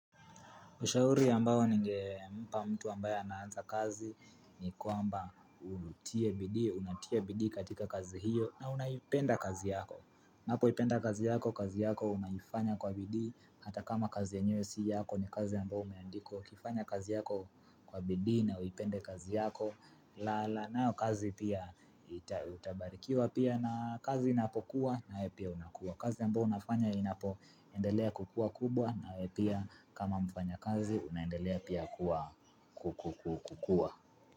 Ushauri ambao ninge mpa mtu ambaya naanza kazi ni kwamba unatia bidi katika kazi hiyo na unayipenda kazi yako. Mambo ipenda kazi yako, kazi yako unayifanya kwa bidi, hata kama kazi yenyewe si yako ni kazi ambao umeandikwa. Kifanya kazi yako kwa bidi na uipende kazi yako, la la nao kazi pia itabarikiwa pia na kazi inapokuwa nawe pia unakuwa. Kazi ambao unafanya inapo endelea kukua kubwa na wewe pia kama mfanya kazi unaendelea pia kukua.